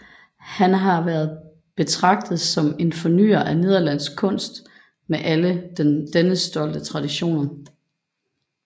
Han har været betragtet som en fornyer af nederlandsk kunst med alle dennes stolte traditioner